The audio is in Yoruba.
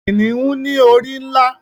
Kìniún ni orí nlá